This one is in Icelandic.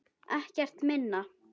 Ekkert minna.